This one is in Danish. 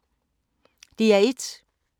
DR1